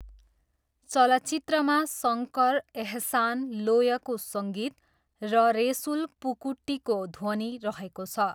चलचित्रमा शङ्कर, एहसान, लोयको सङ्गीत र रेसुल पुकुट्टीको ध्वनि रहेको छ।